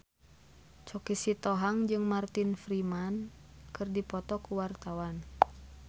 Choky Sitohang jeung Martin Freeman keur dipoto ku wartawan